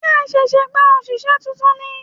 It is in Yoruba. Ṣé ẹ ṣẹ̀ṣẹ̀ gba òṣìṣẹ́ tuntun ni?